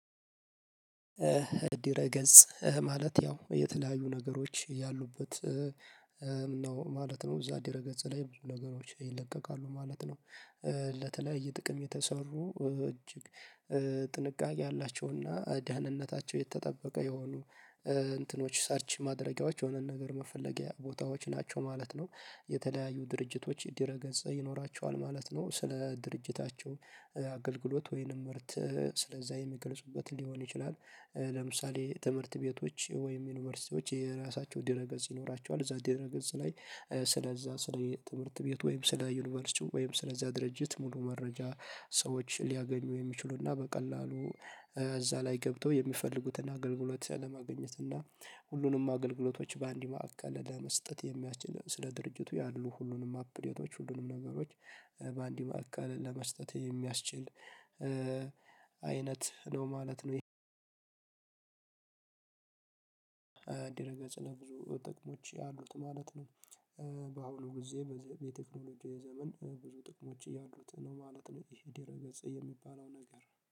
ድረ ገጽ ማለት ያው የተለያዩ ነገሮች ያሉበት ነው ማለት ነው እዛ ድረ ገጽ ላይ ብዙ ነገሮች ይለቀቃሉ ማለት ነው። ለተለያየ ጥቅም የተሰሩ እጅግ ጥንቃቄ ያላቸውና ደህንነታቸው የተጠበቀ የሆኑ እንትኖች ሰርች ማድረጊያዎች የሆነን ነገር መፈለጊያ ቦታዎች ናቸው ማለት ነው። የተለያዩ ድርጅቶች ዲረገጽ ይኖራቸዋል ማለት ነው ስለ ድርጅታቸው አገልግሎት ወይንም ምርት ስለዛ የሚገልጹበት ሊሆን ይችላል። ለምሳሌ ትምህርት ቤቶች ወይም ዩኒቨርሲቲዎች የራሳቸው ድረ ገጽ ይኖራቸዋል እዛ ድረ ገጽ ላይ። ስለዛ ስለ ትምህርት ቤት ወይም ስለ ዩኒቨርሲቲው ወይም ስለዛ ድርጅት ሙሉ መረጃ ሰዎች ሊያገኙ የሚችሉና በቀላሉ እዛ ላይ ገብተው የሚፈልጉትን አገልግሎት ለማግኘትና ሁሉንም አገልግሎቶች በአንድ ማዕከል ለመስጠት የሚያችል ስለ ድርጅቱ ያሉ ሁሉንም አፕዴቶች ሁሉንም ነገሮች በአንድ ማዕከል ለመስጠት የሚያስችል አይነት ነው ማለት ነው። ይሄ ዲረገጽ ለብዙ ጥቅሞች አሉት ማለት ነው። ጊዜ በቴክኖሎጂ ዘመን ብዙ ጥቅሞች ያሉት ነው ማለት ነው። ይሄ ዲረ ገጽ የሚባለው ነገር